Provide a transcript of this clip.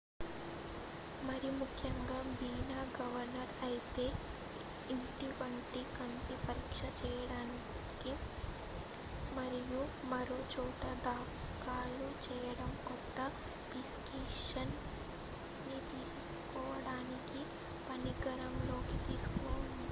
మరిముఖ్యంగా బీమా కవర్ అయితే ఇంటి వద్ద కంటి పరీక్ష చేయించండి మరియు మరోచోట దాఖలు చేయడం కొరకు ప్రిస్క్రిప్షన్ ని తీసుకురావడాన్ని పరిగణనలోకి తీసుకోండి